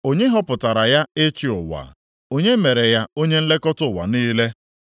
Onye họpụtara ya ịchị ụwa? Onye mere ya onye nlekọta ụwa niile?